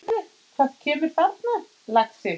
Sérðu hver kemur þarna, lagsi?